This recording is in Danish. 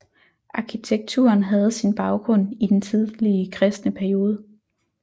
Arkitekturen havde sin baggrund i den tidlige kristne periode